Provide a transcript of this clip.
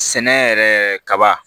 Sɛnɛ yɛrɛ kaba